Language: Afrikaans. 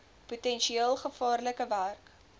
potensieel gevaarlike werk